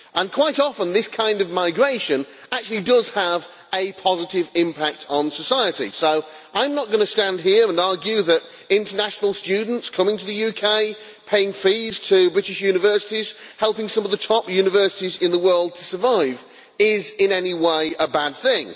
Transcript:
Quite often this kind of migration actually does have a positive impact on society, so I am not going to stand here and argue that international students coming to the UK, paying fees to British universities, helping some of the top universities in the world to survive, is in any way a bad thing.